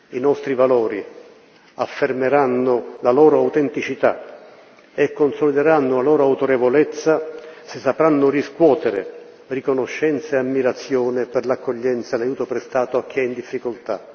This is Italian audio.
I nostri valori affermeranno la loro autenticità e consolideranno la loro autorevolezza se sapranno riscuotere riconoscenza e ammirazione per l'accoglienza e l'aiuto prestato a chi è in difficoltà.